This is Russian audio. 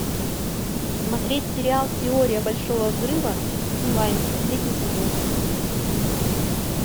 смотреть сериал теория большого взрыва онлайн последний сезон